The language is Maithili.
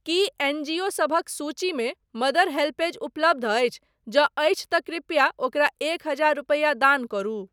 की एन जी ओ सभक सूचीमे मदर हेल्पऐज उपलब्ध अछि, जँ अछि तँ कृपया ओकरा एक हजार रूपैआ दान करू।